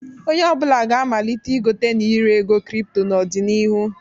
Onye ọ bụla ga-amalite igote na ire ego kripto n'ọdịnihu.